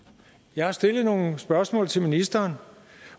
jeg har stillet nogle spørgsmål til ministeren